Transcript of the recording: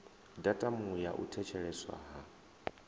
datumu ya u thetsheleswa ha